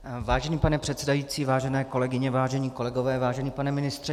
Vážený pane předsedající, vážené kolegyně, vážení kolegové, vážený pane ministře.